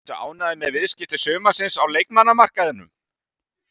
Ertu ánægður með viðskipti sumarsins á leikmannamarkaðinum?